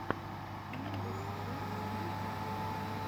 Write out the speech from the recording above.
норис джи в ютубе